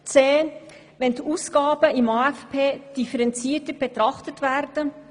Zudem müssen die Ausgaben im AFP differenzierter betrachtet werden.